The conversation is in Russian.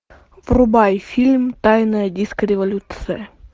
врубай фильм тайная диско революция